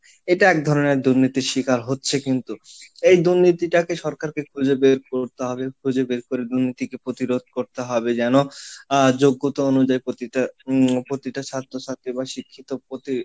এটা এক ধরনের দুর্নীতির শিকার হচ্ছে কিন্তু, এই দুর্নীতিটাকে সরকারকে খুঁজে বের করতে হবে, খুঁজে বের করে দুর্নীতিকে প্রতিরোধ করতে হবে, যেন আহ যোগ্যতা অনুযায়ী প্রতিটা উম প্রতিটা ছাত্রছাত্রী বা শিক্ষিত প্রতি,